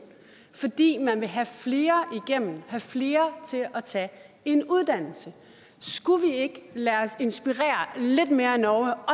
fordi man vil have flere igennem have flere til at tage en uddannelse skulle vi ikke lade os inspirere lidt mere af norge